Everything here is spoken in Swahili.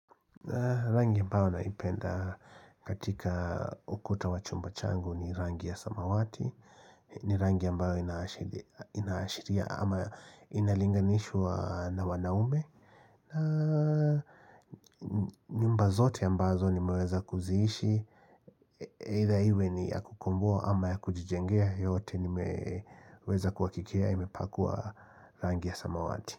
Rangi ambao naipenda katika ukuta wachumba changu ni rangi ya samawati ni rangi ambao ina ashiria ama inalinganishwa na wanaume na nyumba zote ambazo nimeweza kuziishi Either iwe ni yakukomboa ama ya kujijengea yote ni meweza kuhakikia imepakwa rangi ya samawati.